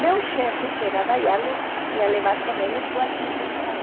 Meu chefe, que era da Yardley , ia levar com ele sua equipe para lá.